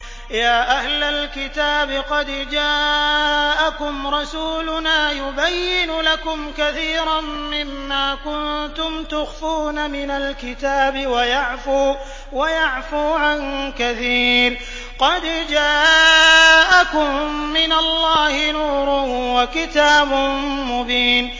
يَا أَهْلَ الْكِتَابِ قَدْ جَاءَكُمْ رَسُولُنَا يُبَيِّنُ لَكُمْ كَثِيرًا مِّمَّا كُنتُمْ تُخْفُونَ مِنَ الْكِتَابِ وَيَعْفُو عَن كَثِيرٍ ۚ قَدْ جَاءَكُم مِّنَ اللَّهِ نُورٌ وَكِتَابٌ مُّبِينٌ